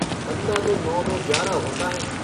बन्दा तो नौ-दो-ग्यारह होता है।